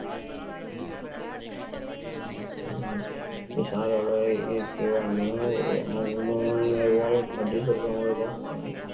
એ સાદો ભાઈ